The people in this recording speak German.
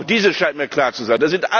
Auch dies scheint mir klar zu